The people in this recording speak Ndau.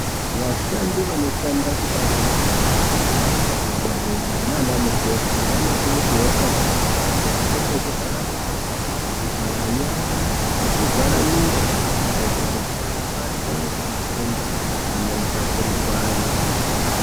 Vashandi vanoshanda kubazi rezveutano madhokodheya nanamukoti vanokurudzirwa pakurutu kuti vapfeke zvivharamiromo, zvivharanyara nezvivharamiro zvakadaroko kuti vasabatwa ngematenda amotapurirwana.